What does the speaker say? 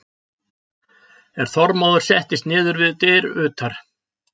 En Þormóður settist niður við dyr utar.